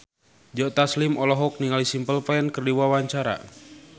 Joe Taslim olohok ningali Simple Plan keur diwawancara